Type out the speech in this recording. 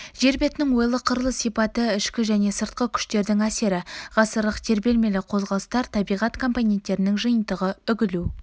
жер бетінің ойлы-қырлы сипаты ішкі және сыртқы күштердің әсері ғасырлық тербелмелі қозғалыстар табиғат компоненттерінің жиынтығы үгілу